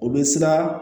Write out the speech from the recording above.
O bɛ siran